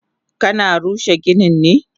Kana rushe ginin ne?